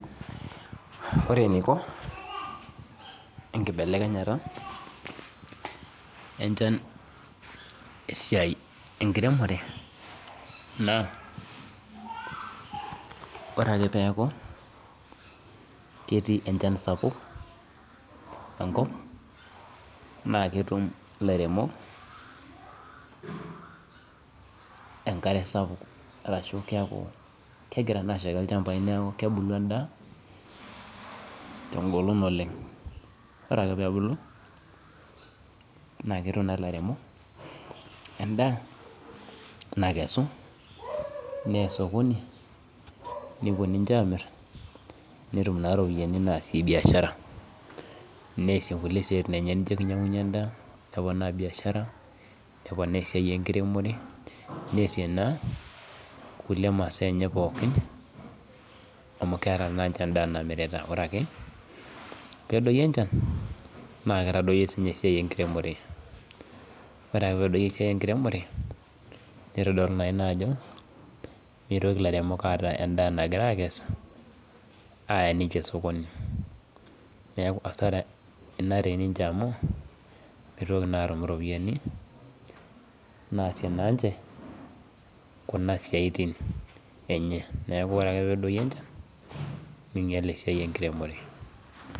Ore eneiko enkibelekenyata enchan esiai enkiremore naa oreake peaku ketii enchan sapuk enkop naaketum ilairemok enkare sapuk arashu keaku kegira naa ashaiki ilchambai neaku kebulu endaa tengolon oleng'. Ore ake peebulu naaketum naa ilairemok endaa nakesu neya  sokoni nepuo ninche amirr netum naa ropiani naasie biashara. Neasie kulie siaitin enche nijo keinyang'unye endaa neponaa biashara, neponaa esiai, enkiremore, neasie naa kulie masaa enye pookin amu keata naa ninche endaa namirita. Ore ake peedoyo enchan naakeitadoyo siinye esiai enkiremore, ore ake peedoyo esiai enkiremore neitodolu naaina ajo meitoki ilairemok aata endaa nagira akes aaya ninche [csmsokoni. Neaku  hasara ina teninche amu meitoki naatum iropiani naasie naa ninche kuna siaitin enye, neaku ore ake peedoyo enchan neinyal esiai enkiremore.